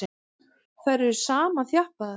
Þær eru samþjappaðar.